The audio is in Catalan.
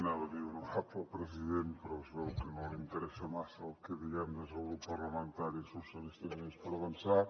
anava a dir honorable president però es veu que no li interessa massa el que diguem des del grup parlamentari socialistes i units per avançar